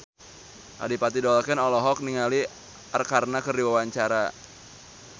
Adipati Dolken olohok ningali Arkarna keur diwawancara